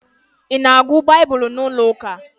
I na-agụ Baịbụl n'ụlọ ụka?